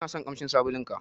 Inason ƙamshin sabulun ka.